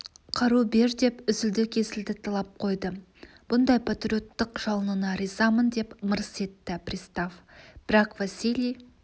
қару бер деп үзілді-кесілді талап қойды бұндай патриоттық жалыныңа ризамын деп мырс етті пристав бірақ василий